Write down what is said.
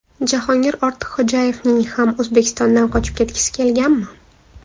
Jahongir Ortiqxo‘jayevning ham O‘zbekistondan qochib ketgisi kelganmi?